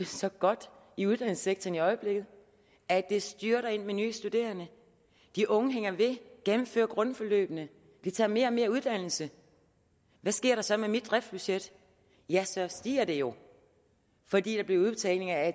så godt i uddannelsessektoren i øjeblikket at det styrter ind med nye studerende de unge hænger ved gennemfører grundforløbene vi tager mere og mere uddannelse hvad sker der så med mit driftsbudget ja så stiger det jo fordi der bliver udbetalinger af